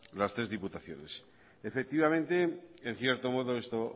las tres diputaciones efectivamente en cierto modo esto